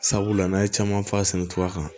Sabula n'an ye caman falen cogoya kan